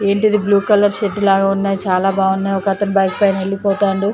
ఏంటిది blue colour shirt లాగా ఉన్నాయి చాలా బాగున్నావు కాకపోతే బైక్ పైన వెళ్లిపోతుండు.